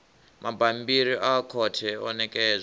mabammbiri a khothe o ṋekedzwa